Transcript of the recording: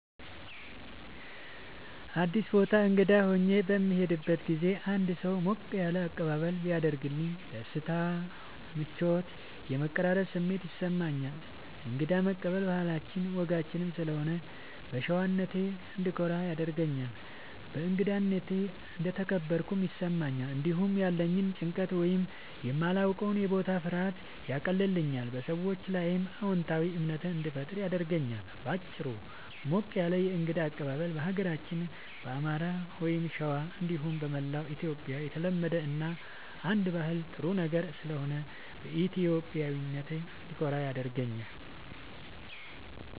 አዲስ ቦታ እንግዳ ሆኜ በምሄድበት ጊዜ አንድ ሰው ሞቅ ያለ አቀባበል ቢያደርግልኝ ደስታ፣ ምቾት እና የመቀራረብ ስሜት ይሰማኛል። እንግዳ መቀበል ባህላችንም ወጋችንም ስለሆነ በሸዋነቴ እንድኮራ ያደርገኛል። በእንግዳነቴ እንደተከበርኩም ይሰማኛል። እንዲሁም ያለኝን ጭንቀት ወይም የማላዉቀዉ የቦታ ፍርሃት ያቀልልኛል፣ በሰዎቹም ላይ አዎንታዊ እምነት እንዲፈጠር ያደርጋል። በአጭሩ፣ ሞቅ ያለ የእንግዳ አቀባበል በሀገራችን በአማራ(ሸዋ) እንዲሁም በመላዉ ኢትዮጽያ የተለመደ እና አንደ ባህል ጥሩ ነገር ስለሆነ በኢትዮጵያዊነቴ እንድኮራ ያደርገኛል።